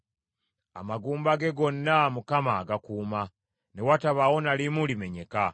Amagumba ge gonna Mukama agakuuma, ne watabaawo na limu limenyeka.